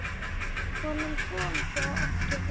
Honum kom það ekki við.